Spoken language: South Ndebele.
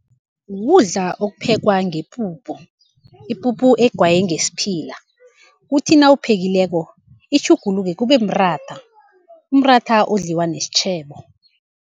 Kukudla okuphekwa ngepuphu, ipuphu egayiwe ngesiphila, kuthi nawuphekileko itjhuguluke kube mratha, umratha odliwa nesitjhebo.